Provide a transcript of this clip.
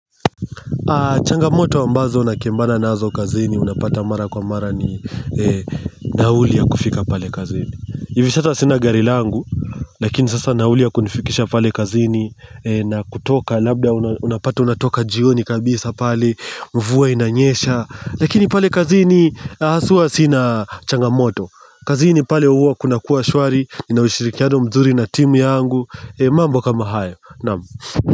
Changamoto ambazo nakembana nazo kazini unapata mara kwa mara ni nauli ya kufika pale kazini. Hivi sasa sina gari langu lakini sasa nauli ya kunifikisha pale kazini na kutoka labda unapata unatoka jioni kabisa pale. Mvua inanyesha lakini pale kazini haswa sina changamoto. Kazini pale huwa kunakuwa shwari nina ushirikiano mzuri na timu yangu. Mambo kama haya. Naam.